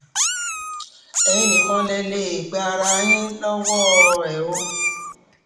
ẹ̀yin nìkan lẹ lè um gba ara yín lọ́wọ́ um ẹ̀ o